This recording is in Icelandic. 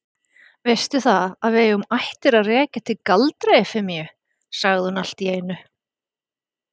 Veistu það, að við eigum ættir að rekja til Galdra-Efemíu, sagði hún allt í einu.